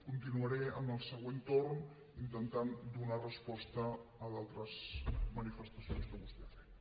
continuaré en el següent torn intentant donar resposta a d’altres manifestacions que vostè ha fet